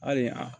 Hali a